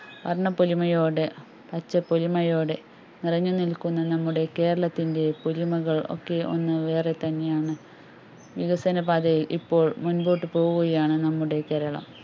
വർണ്ണപ്പൊലിമയോടെ പച്ചപ്പൊലിമയോടെ നിറഞ്ഞു നിൽക്കുന്ന നമ്മുടെ കേരളത്തിന്റെ പൊലിമകൾ ഒക്കെ ഒന്ന് വേറെ തന്നെ ആണ് വികസനപാതയിൽ ഇപ്പോൾ മുൻപോട്ട് പോകുകയാണ് നമ്മുടെ കേരളം